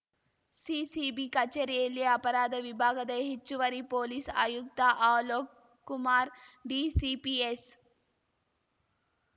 CCB ಕಚೇರಿಯಲ್ಲಿ ಅಪರಾಧ ವಿಭಾಗದ ಹೆಚ್ಚುವರಿ ಪೊಲೀಸ್‌ ಆಯುಕ್ತ ಅಲೋಕ್‌ ಕುಮಾರ್‌ ಡಿಸಿಪಿ ಎಸ್‌